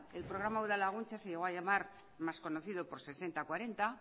el programa udalaguntza se llegó a llamar más conocido por sesenta cuarenta